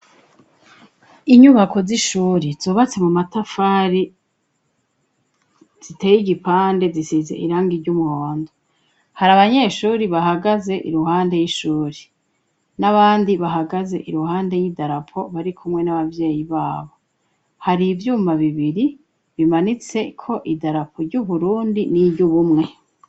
Inyubako z'ishuri zubatse mu matafari ziteye igipande zisize irangi ry'umuhondo hari abanyeshuri bahagaze iruhande y'ishuri n'abandi bahagaze iruhande y'idarapo bari kumwe n'ababyeyi babo hari ivyuma bibiri bimanitse ko idarapo ry'uburundi n'iry'ubumwe.